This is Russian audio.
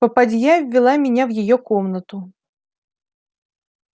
попадья ввела меня в её комнату